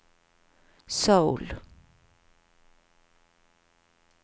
Seoul